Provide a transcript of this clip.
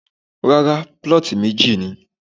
Rárá, plot meji ni.